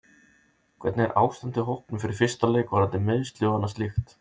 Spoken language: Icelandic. Hvernig er ástandið á hópnum fyrir fyrsta leik varðandi meiðsli og annað slíkt?